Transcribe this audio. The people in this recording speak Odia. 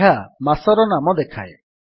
ଏହା ମାସର ନାମ ଦେଖାଏ